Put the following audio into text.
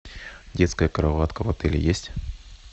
детская кроватка в отеле есть